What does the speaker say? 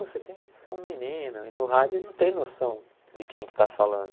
Pô você tem você é um menino e no rádio ele não tem noção de quem que está falando.